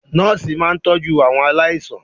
Nọ́ọ̀sì máa ń tọjú àwọn aláìsàn.